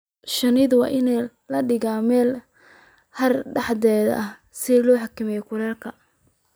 Shinnida waa in la dhigaa meelo hadh dhexdhexaad ah si loo xakameeyo kulaylka.